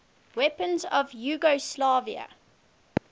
weapons of yugoslavia